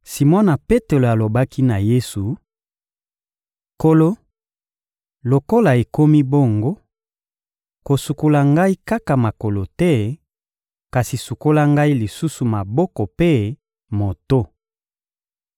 Simona Petelo alobaki na Yesu: — Nkolo, lokola ekomi bongo, kosukola ngai kaka makolo te, kasi sukola ngai lisusu maboko mpe moto.